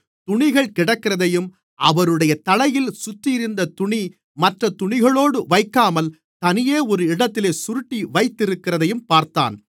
துணிகள் கிடக்கிறதையும் அவருடைய தலையில் சுற்றியிருந்த துணி மற்றத் துணிகளோடு வைக்காமல் தனியே ஒரு இடத்திலே சுருட்டி வைத்திருக்கிறதையும் பார்த்தான்